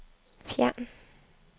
fjern